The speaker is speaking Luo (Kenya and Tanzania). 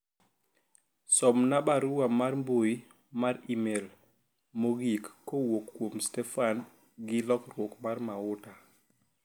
somna barua mar mbui mar email mogik kowuok kuom Stefen gi lokruok mar mauta